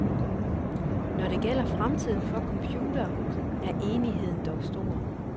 Når det gælder fremtiden for computere, er enigheden dog stor.